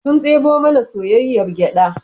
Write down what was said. Sun debo mana soyayyar gyada